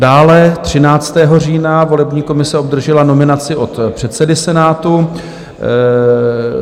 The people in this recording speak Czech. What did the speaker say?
Dále 13. října volební komise obdržela nominaci od předsedy Senátu.